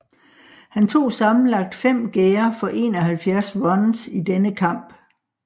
Han tog sammenlagt 5 gærder for 71 runs i denne kamp